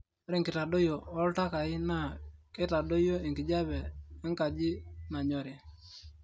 ore enkitadoyio ooltakai na reitadoyio enkijape enkaji nanyori